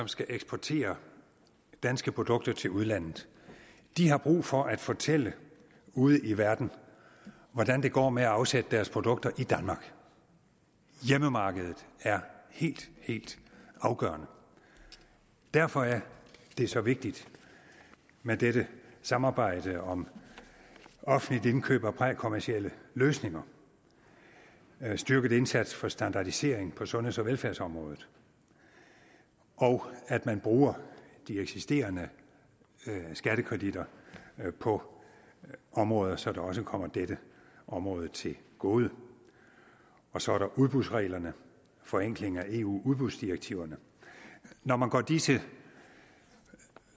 skal eksportere danske produkter til udlandet har brug for at fortælle ude i verden hvordan det går med at afsætte deres produkter i danmark hjemmemarkedet er helt helt afgørende derfor er det så vigtigt med dette samarbejde om offentligt indkøb af prækommercielle løsninger en styrket indsats for standardisering på sundheds og velfærdsområdet og at man bruger de eksisterende skattekreditter på områder så det også kommer dette område til gode så er der udbudsreglerne forenklingen af eus udbudsdirektiver når man går disse